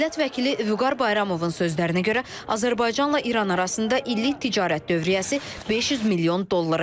Millət vəkili Vüqar Bayramovun sözlərinə görə, Azərbaycanla İran arasında illik ticarət dövriyyəsi 500 milyon dollara yaxındır.